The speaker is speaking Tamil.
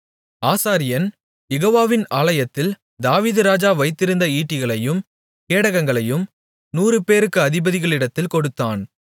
ஆசாரியன் யெகோவாவின் ஆலயத்தில் தாவீதுராஜா வைத்திருந்த ஈட்டிகளையும் கேடகங்களையும் நூறுபேருக்கு அதிபதிகளிடத்தில் கொடுத்தான்